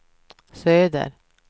söder